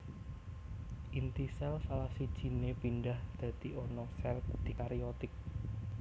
Inti sél salah sijine pindhah dadi ana sel dikariotik